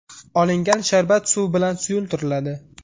Olingan sharbat suv bilan suyultiriladi.